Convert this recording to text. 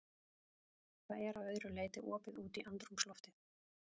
Það er að öðru leyti opið út í andrúmsloftið.